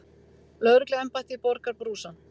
Lögregluembættið borgar brúsann.